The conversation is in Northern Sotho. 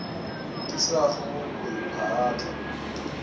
ke sa go kwe phaahla